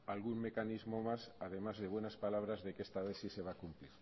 algún mecanismo más además de buenas palabras de que esta vez sí se va a cumplir